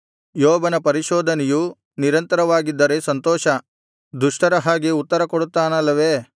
ಯೋಬನ ಪರಿಶೋಧನೆಯು ನಿರಂತರವಾಗಿದ್ದರೆ ಸಂತೋಷ ದುಷ್ಟರ ಹಾಗೆ ಉತ್ತರಕೊಡುತ್ತಾನಲ್ಲವೆ